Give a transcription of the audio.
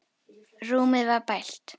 Rúmið var bælt.